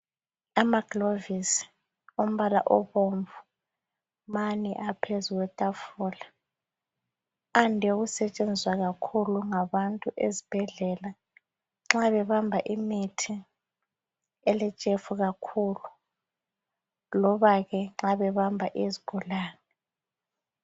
Amagilovisi ombala obomvu mane aphezulu kwetafula ande ukusetshenziswa kakhulu ngabantu ezibhendlela nxa bebamba imithi eletshefu kakhulu lobake nxa bebamba izigulane